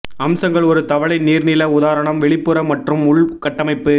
அம்சங்கள் ஒரு தவளை நீர்நில உதாரணம் வெளிப்புற மற்றும் உள் கட்டமைப்பு